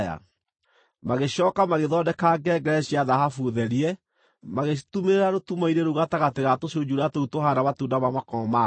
Magĩcooka magĩthondeka ngengere cia thahabu therie magĩcitumĩrĩra rũtumo-inĩ rũu gatagatĩ ga tũcunjuura tũu tũhaana matunda ma makomamanga.